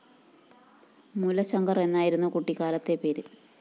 മൂലശങ്കര്‍ എന്നായിരുന്നു കുട്ടിക്കാലത്തെ പേര്